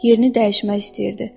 Yerini dəyişmək istəyirdi.